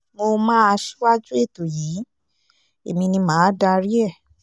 mo máa ṣíwájú ètò yìí èmi ni mà á darí ẹ